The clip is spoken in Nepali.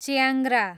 च्याङ्ग्रा